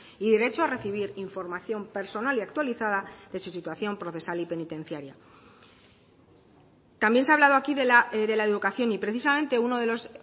y derecho a recibir información personal y actualizada de su situación procesal y penitenciaria también se ha hablado aquí de la educación y precisamente uno de los